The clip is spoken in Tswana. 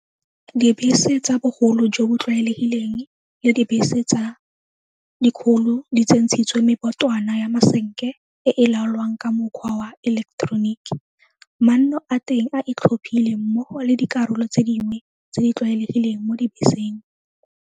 Dibese tsa bogolo jo bo tlwaelegileng le dibese tse dikgolo di tsentshitswe mebotwana ya masenke e e laolwang ka mokgwa wa eleketeroniki, manno a teng a itlhophile mmogo le dikarolo tse dingwe tse di tlwaelegileng mo dibeseng.